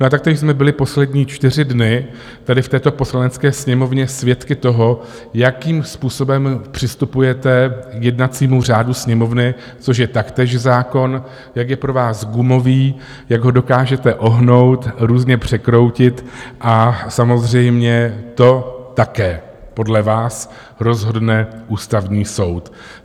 No a taktéž jsme byli poslední čtyři dny tady v této Poslanecké sněmovně svědky toho, jakým způsobem přistupujete k jednacímu řádu Sněmovny, což je taktéž zákon, jak je pro vás gumový, jak ho dokážete ohnout, různě překroutit, a samozřejmě to také podle vás rozhodne Ústavní soud.